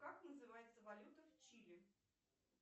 как называется валюта в чили